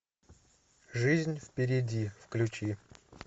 жизнь впереди включи